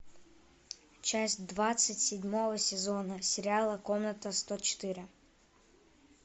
часть двадцать седьмого сезона сериала комната сто четыре